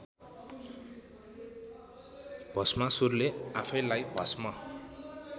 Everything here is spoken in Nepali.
भष्मासुरले आफैंलाइ भष्म